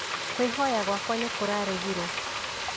kwĩhoya gwakwa nĩkũraregirwo